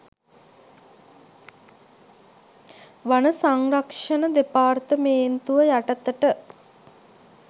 වන සංරක්ෂණ දෙපාර්තමේන්තුව යටතට